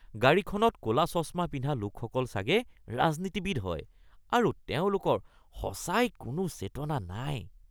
গাড়ীখনত ক’লা চশমা পিন্ধা লোকসকল চাগে ৰাজনীতিবিদ হয় আৰু তেওঁলোকৰ সঁচাই কোনো চেতনা নাই